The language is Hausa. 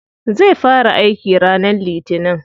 Zai fara aiki ranar litinin.